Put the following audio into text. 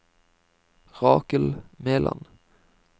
Rakel Meland